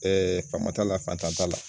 Ɛɛ fama t'a la fanta t'a la